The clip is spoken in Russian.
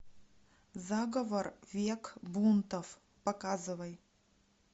заговор век бунтов показывай